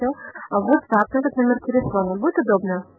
могу показать